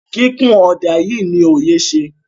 kikun oda yii ni oye ṣe.